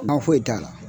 Ba foyi t'a la